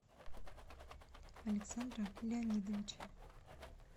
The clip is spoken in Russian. александра леонидовича